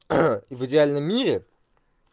и в идеальном мире